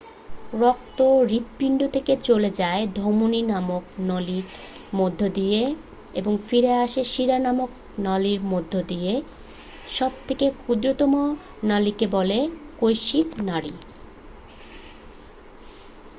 রক্ত হৃৎপিণ্ড থেকে চলে যায় ধমনী নামক নলির মধ্য দিয়ে এবং ফিরে আসে শিরা নামক নলির মধ্য দিয়ে সব থেকে ক্ষুদ্রতম নলিকে বলে কৈশিক নাড়ী